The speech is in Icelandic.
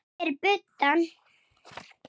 Ástæður til að gefast upp?